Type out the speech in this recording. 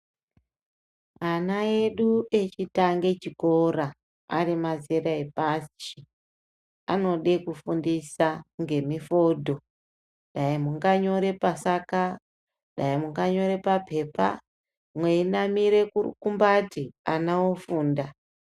Ana edu echitange chikora ari mazera epashi anode kufundisa ngemufudho dai munganyora pasaka dai munganyore papepa munamira rukumbati ana ofunda.